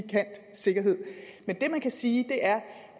sikkerhed men det man kan sige er